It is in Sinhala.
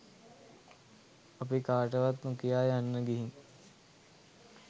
අපි කාටවත් නොකියා යන්න ගිහින්.